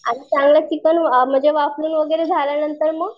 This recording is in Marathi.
आणि चांगलं चिकन म्हणजे वाफवून वगैरे झाल्या नंतर मग